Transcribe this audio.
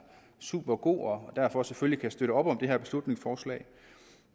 supergod og derfor selvfølgelig støtte op om det her beslutningsforslag